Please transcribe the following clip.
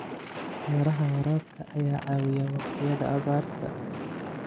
Beeraha waraabka ayaa caawiya waqtiyada abaarta.